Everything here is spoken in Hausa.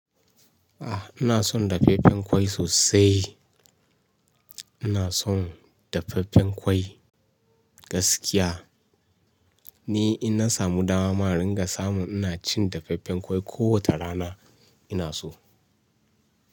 Ah, ina son dafaffen ƙwai sosai. Ina son dafaffen ƙwai gaskiya. Ni in na samu dama mara ringa samu ina cin dafaffen ƙwai kowace rana ina so.